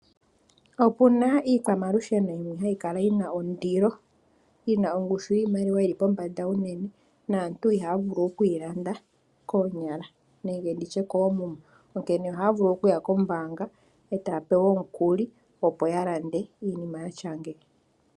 Opuna iikwamalusheno yimwe hayi kala yina ondilo, yina oongushu yiimaliwa yili pombanda uunene, naantu ihaya vulu oku landa koonyala nenge nditye koomuma, onkee ohaya vulu okuya koombanga etaya pewa omukuli, opo yalande iinima yatya ngeyi.